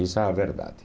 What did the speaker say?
Essa é a verdade.